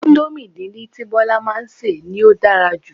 Índómì díndín tí Bola máa ń ṣe ni ó dára jj